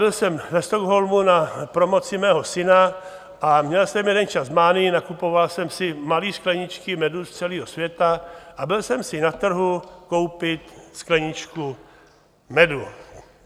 Byl jsem ve Stockholmu na promoci mého syna a měl jsem jeden čas mánii, nakupoval jsem si malé skleničky medu z celého světa a byl jsem si na trhu koupit skleničku medu.